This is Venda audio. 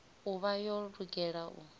u vha yo lugela u